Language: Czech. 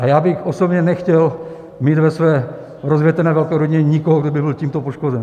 A já bych osobně nechtěl mít ve své rozvětvené velké rodině nikoho, kdo by byl tímto poškozen.